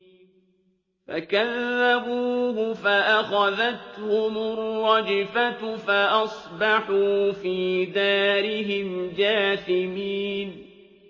فَكَذَّبُوهُ فَأَخَذَتْهُمُ الرَّجْفَةُ فَأَصْبَحُوا فِي دَارِهِمْ جَاثِمِينَ